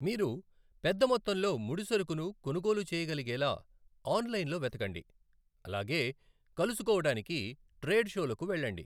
మీరు పెద్దమొత్తంలో ముడిసరుకును కొనుగోలు చేయగలిగేలా ఆన్లైన్లో వెతకండి, అలాగే కలుసుకోవడానికి ట్రేడ్ షోలకు వెళ్ళండి.